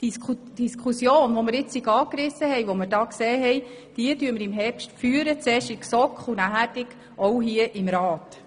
Die jetzt angerissene Diskussion führen wir im Herbst, zuerst in der GSoK und dann auch hier im Grossen Rat.